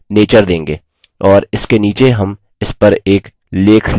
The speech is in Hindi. और इसके नीचे हम इसपर एक लेख लिखेंगे